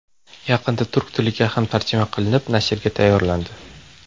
Yaqinda turk tiliga ham tarjima qilinib, nashrga tayyorlandi.